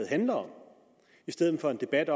handler om i stedet for en debat